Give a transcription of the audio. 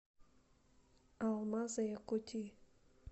алмазы якутии